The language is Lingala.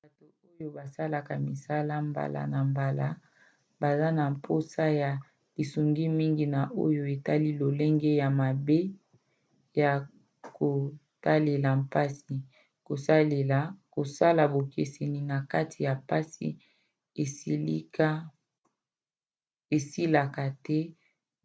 bato oyo basalaka misala mbala na mbala baza na mposa ya lisungi mingi na oyo etali lolenge ya mabe ya kotalela mpasi kosala bokeseni na kati ya mpasi esilaka te